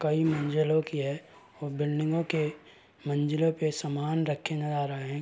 कई मंजिलों की है और बिल्डिंगों के मंजिलों पर सामान रखे नज़र आ रहे।